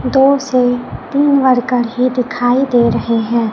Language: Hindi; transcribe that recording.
दो से तीन वर्कर ही दिखाई दे रहे हैं।